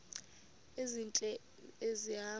ezintle esi hamba